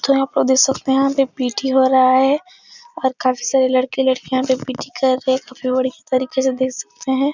जहां पे देख सकते हैं यहाँ पी.टी वाला आया है और काफी सारे लड़के लड़कियां यहाँ पर पी.टी कर रहे हैं। तरीके से देख सकते हैं।